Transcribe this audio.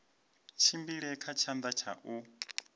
tshimbile kha tshanḓa tsha u